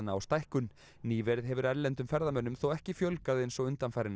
á stækkun nýverið hefur erlendum ferðamönnum þó ekki fjölgað eins og undanfarin